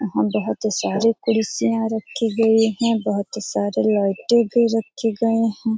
यहाँ बहोत सारे कुर्सियां रखी गयी हैं बहुत सारे लाइटें भी रखे गए हैं ।